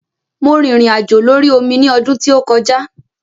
Mo rìnrìn àjò lórí omi ní ọdún tí ó kọjá.